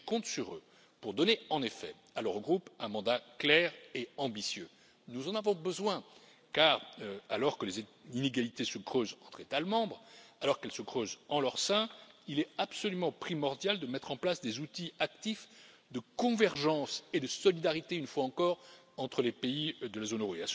Et je compte sur eux pour donner en effet à l'Eurogroupe un mandat clair et ambitieux. Nous en avons besoin car, alors que les inégalités se creusent entre États membres, alors qu'elles se creusent en leur sein, il est absolument primordial de mettre en place des outils actifs de convergence et de solidarité, une fois encore, entre les pays de la zone euro.